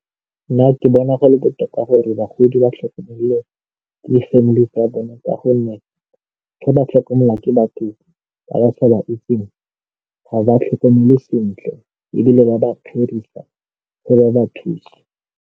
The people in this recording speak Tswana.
Nna ke bona go le botoka gore bagodi ba tlhokomele ke family tsa bona ka gonne ga ba tlhokomelwa ke batho ba ba sa ba itseng ga ba tlhokomele sentle ebile ba ba fa ba ba thusa.